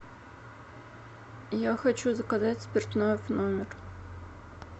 я хочу заказать спиртное в номер